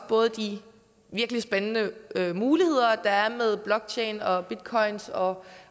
både de virkelig spændende muligheder der er med blockchain og bitcoins og